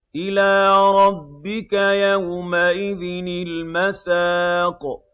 إِلَىٰ رَبِّكَ يَوْمَئِذٍ الْمَسَاقُ